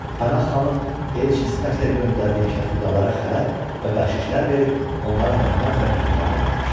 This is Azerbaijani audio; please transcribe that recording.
Pənahxanın elçi sifəti ilə göndərdiyi kətxudalara xələt və bəxşişlər verib, onlara hörmət və mehribanlıq etmişdi.